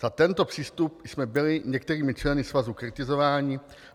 Za tento přístup jsme byli některými členy svazu kritizováni.